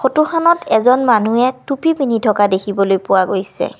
Photo খনত এজন মানুহে টুপী পিন্ধি থকা দেখিবলৈ পোৱা গৈছে।